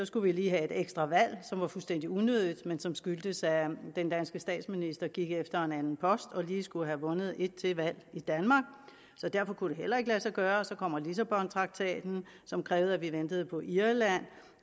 skulle vi lige have et ekstra valg som var fuldstændig unødigt men som skyldtes at den danske statsminister gik efter en anden post og lige skulle have vundet et til valg i danmark så derfor kunne det heller ikke lade sig gøre og så kom lissabontraktaten som krævede at vi ventede på irland